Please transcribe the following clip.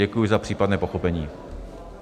Děkuji za případné pochopení.